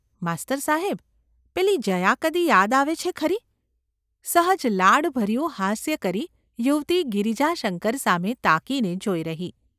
માસ્તર સાહેબ ! પેલી જયા કદી યાદ આવે છે ખરી ?’ સહજ લાડભર્યું હાસ્ય કરી યુવતી ગિરિજાશંકર સામે તાકીને જોઈ રહી.